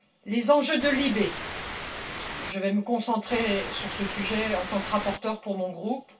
Les enjeux de LIBE je vais me concentrer sur ce sujet, en tant que rapporteure pour mon groupe.